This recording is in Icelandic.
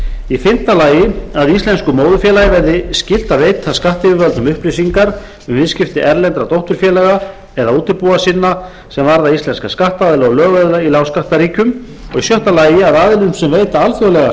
skulda fimmta að íslensku móðurfélagi verði skylt að veita skattyfirvöldum upplýsingar um viðskipti erlendra dótturfélaga eða útibúa sinna sem varða íslenska skattaðila og lögaðila í lágskattaríkjum sjötta að aðilum sem veita alþjóðlega